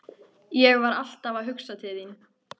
Ég var alltaf að hugsa til þín.